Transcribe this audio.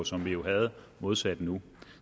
som vi jo havde modsat nu